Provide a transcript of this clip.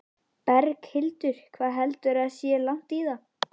Berghildur: Hvað heldurðu að sé langt í það?